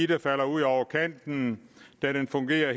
der falder ud over kanten da den fungerer